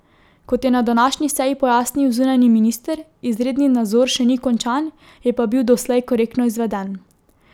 Kot je na današnji seji pojasnil zunanji minister, izredni nadzor še ni končan, je pa bil doslej korektno izveden.